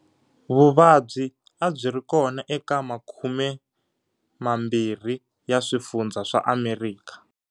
Vuvabyi a byi ri kona eka makumemambirhi ya swifundza swa Amerika.